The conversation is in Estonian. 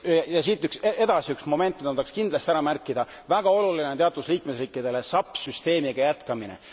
Ja siit edasi üks moment, mida ma tahaksin kindlasti ära märkida väga oluline on teatud liikmesriikidele SAP süsteemiga jätkamine.